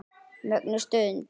Mögnuð stund.